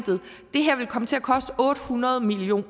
det her ville komme til at koste otte hundrede million